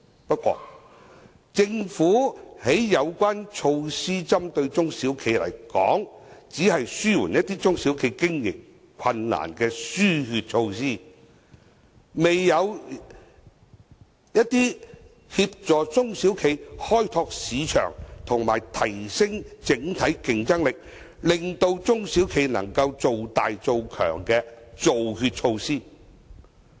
不過，政府針對中小企的有關措施，只是紓緩一些中小企經營困難的"輸血"措施，未有協助中小企開拓市場及提升整體競爭力，令中小企能做大做強的"造血"措施。